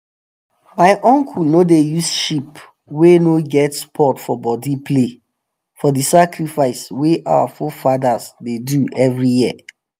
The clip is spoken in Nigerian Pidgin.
my uncle no dey use sheep wey no get spot for body play for the sacrifice wey our forefathers dey do every year.